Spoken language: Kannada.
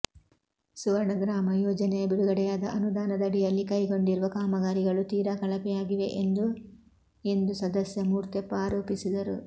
ಸುವರ್ಣ ಗ್ರಾಮ ಯೋಜನೆಯ ಬಿಡುಗಡೆಯಾದ ಅನುದಾನದಡಿಯಲ್ಲಿ ಕೈಗೊಂಡಿರುವ ಕಾಮಗಾರಿಗಳು ತೀರಾ ಕಳಪೆಯಾಗಿವೆ ಎಂದು ಎಂದು ಸದಸ್ಯ ಮೂರ್ತೆಪ್ಪ ಆರೋಪಿಸಿದರು